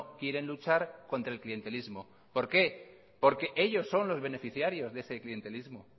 quieren luchar contra el clientelismo por qué porque ellos son los beneficiarios de ese clientelismo